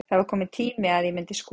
Það var kominn tíma að ég myndi skora.